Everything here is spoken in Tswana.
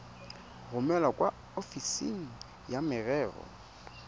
romele kwa ofising ya merero